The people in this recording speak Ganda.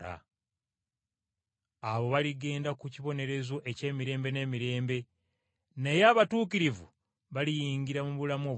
“Abo baligenda ku kibonerezo eky’emirembe n’emirembe, naye abatuukirivu baliyingira mu bulamu obutaggwaawo.”